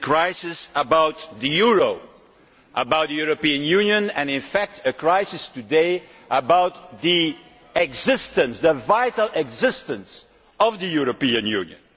This is a crisis about the euro, about the European Union and, in fact, a crisis today about the existence the vital existence of the European Union.